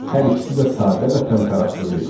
Hər ikisi də sadə və təmtəraqsız idi.